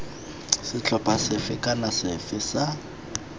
setlhopha sefe kana sefe sa